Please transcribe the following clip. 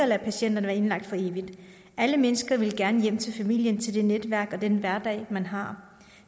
lade patienterne være indlagt for evigt alle mennesker vil gerne hjem til familien til det netværk og den hverdag man har